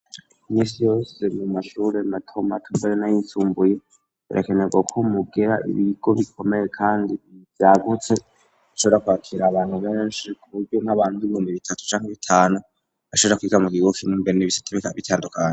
Imisi yose mu mashure mato mbere nayisumbuye berekanerwa ko mugira ibigo bikomeye kandi vyagutse bishobra kwakira abantu beshi kuburyo nk'abantu nk'ibihumbi bitatu canke bitanu bashobora kwiga mu kimwe mbere n'ibisata bikaba bitandukanye.